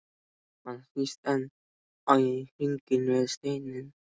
Hann snýst enn í hringi með steininn.